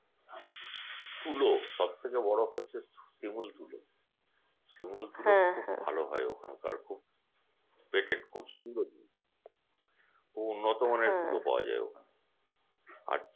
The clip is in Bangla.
তুলো সব থেকে বড় হচ্ছে শিমুল তুলো শিমুল তুলো খুব ভালো হয় ওখানকার খুব সুন্দর খুব উন্নত মানের তুলো পাওয়া যায় ওখানে আর